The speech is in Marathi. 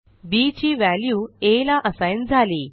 बी ची व्हॅल्यू आ ला असाइन झाली